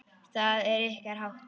Það er ykkar háttur.